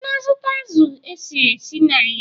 Ị na-azụta azụ̀ esiri esi n'ahịa?